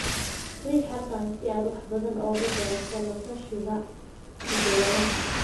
Riix halkan si aad wax badan uga barato la-tashiga hidde-sidaha.